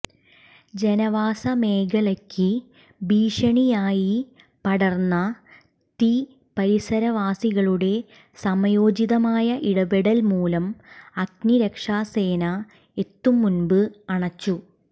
ജനവാസമേഖലയ്ക്ക് ഭീഷണിയായി പടർന്ന തീ പരിസരവാസികളുടെ സമയോചിതമായ ഇടപെടൽ മൂലം അഗ്നിരക്ഷാസേന എത്തുംമുമ്പ് അണച്ചു